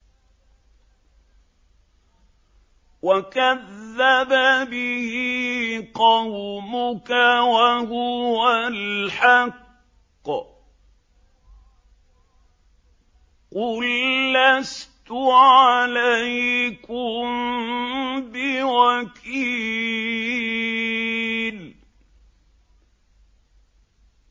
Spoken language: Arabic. وَكَذَّبَ بِهِ قَوْمُكَ وَهُوَ الْحَقُّ ۚ قُل لَّسْتُ عَلَيْكُم بِوَكِيلٍ